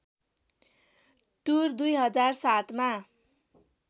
tour २००७ मा